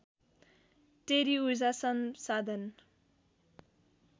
टेरी ऊर्जा संसाधन